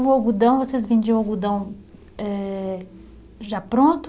O algodão, vocês vendiam o algodão eh, já pronto?